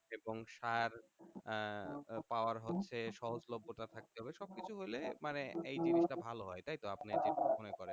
এবং সার আহ পাওয়ার হচ্ছে সহজলভ্যতা থাকতে হবে সব কিছু হইলে মানে এই জিনিসটা ভালো হয় তাইতো আপনি কি মনে করেন?